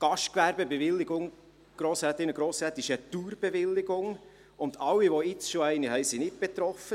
Die Gastgewerbebewilligung ist eine Dauerbewilligung, und alle, die jetzt schon eine haben, sind nicht betroffen.